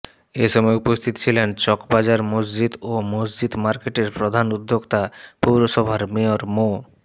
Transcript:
এসময় উপস্থিত ছিলেন চক বাজার মসজিদ ও মসজিদ মার্কেটের প্রধান উদ্যোক্তা পৌরসভার মেয়র মো